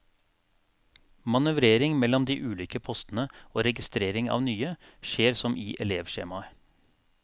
Manøvrering mellom de ulike postene og registrering av nye skjer som i elevskjemaet.